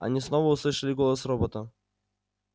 они снова услышали голос робота